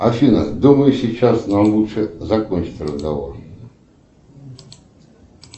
афина думаю сейчас нам лучше закончить разговор